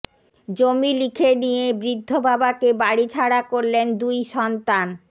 জমি লিখে নিয়ে বৃদ্ধ বাবাকে বাড়ি ছাড়া করলেন দুই সন্তান